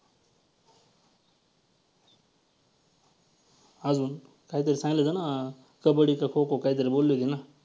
अजून काहीतरी सांगितलं ना कबड्डी का खो खो काहीतरी बोलली होती ना.